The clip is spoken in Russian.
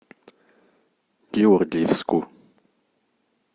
георгиевску